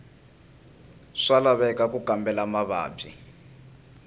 swa laveka ku kambela mavabyi